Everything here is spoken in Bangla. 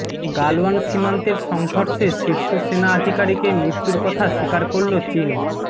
গালওয়ান সীমান্তের সংঘর্ষে শীর্ষ সেনা আধিকারিকের মৃত্যুর কথা স্বীকার করল চিন